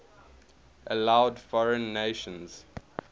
allowed foreign nations